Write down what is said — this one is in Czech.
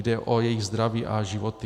Jde o jejich zdraví a životy.